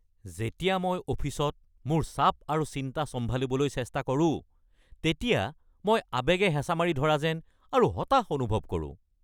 যেতিয়া মই অফিচত মোৰ চাপ আৰু চিন্তা চম্ভালিবলৈ চেষ্টা কৰোঁ তেতিয়া মই আৱেগে হেঁচা মাৰি ধৰা যেন আৰু হতাশ অনুভৱ কৰোঁ।